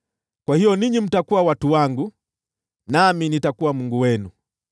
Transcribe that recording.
‘Kwa hiyo ninyi mtakuwa watu wangu, nami nitakuwa Mungu wenu.’ ”